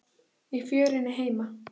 Í fjörunni heima.